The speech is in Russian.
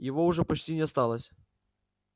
его уже почти не осталось